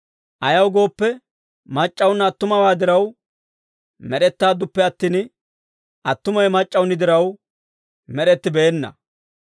Ayaw gooppe, mac'c'awunna attumawaa diraw med'ettaadduppe attin, attumawe mac'c'awuni diraw med'ettibeenna.